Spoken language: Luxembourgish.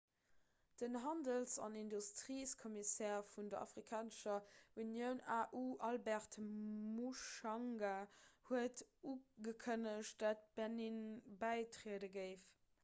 den handels- an industriekommissär vun der afrikanescher unioun au albert muchanga huet ugekënnegt datt benin bäitriede géif